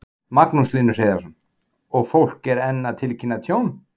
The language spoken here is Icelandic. Magnús Hlynur Hreiðarsson: Og fólk er enn að tilkynna tjón?